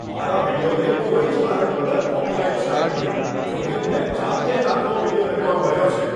મારા વીડિયોને કોઈ કારણ વગર કૉપિરાઈટ સ્ટ્રાઈક મળી. જોકે મેં જાતે જ આખો વીડિયો રેકોર્ડ કર્યો છે.